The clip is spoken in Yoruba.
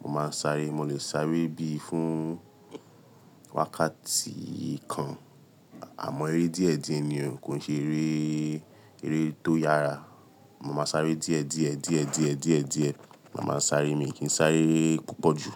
mo máa ń sáré. Mo lè sáré bí i fún wákàtí kan, àmọ́ eré díẹ̀ díẹ̀ ni o, kò ṣe eré, eré tó yára. Mo máa ń sáré díẹ̀ díẹ̀ díẹ̀ díẹ̀ díẹ̀ díẹ̀. Mo máa ń sáré mi kì í sáré púpọ̀ jù.